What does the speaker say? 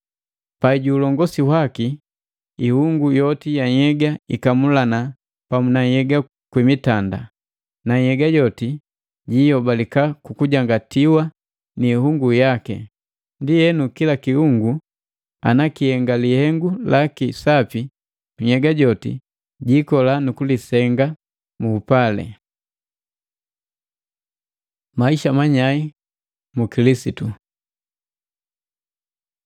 Pai ju ulongosi waki, ihungu yoti ya nhyega ikamulana pamu na nhyega kwi mitanda, na nhyega joti jihobaleka ku kujangatiwa ni ihungu yaki. Ndienu kila kiungu ana kihenga lihengu laki sapi, nhyega joti jikola nu kujisenga mu upali. Maisha manyai mu Kilisitu